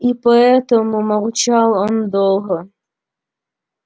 и поэтому молчал он долго